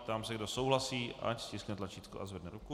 Ptám se, kdo souhlasí, ať stiskne tlačítko a zvedne ruku.